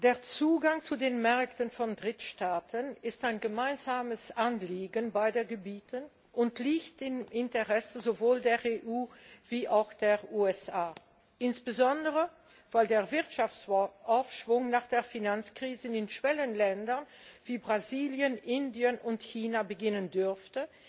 Der Zugang zu den Märkten von Drittstaaten ist ein gemeinsames Anliegen und liegt im Interesse sowohl der EU wie auch den USA, insbesondere weil der Wirtschaftsaufschwung nach der Finanzkrise in den Schwellenländern wie Brasilien, Indien und China beginnen dürfte,